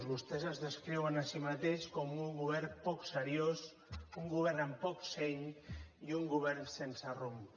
vostès es descriuen a si mateixos com un govern poc seriós un govern amb poc seny i un govern sense rumb